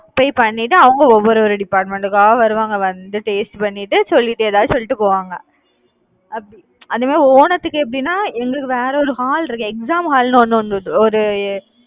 போய் பண்ணிட்டு அவங்க ஒவ்வொரு department கா வருவாங்க வந்து taste பண்ணிட்டு சொல்லிட்டு ஏதாவது சொல்லிட்டு போவாங்க, அப்~ அந்த மாதிரி ஓணத்துக்கு எப்படின்னா எங்களுக்கு வேற ஒரு hall இருக்கு. exam hall ன்னு ஒண்ணு ஒண்ணு ஒரு